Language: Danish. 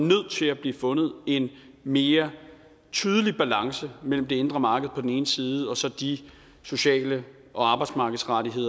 nødt til at blive fundet en mere tydelig balance mellem det indre marked på den ene side og så de sociale og arbejdsmarkedsmæssige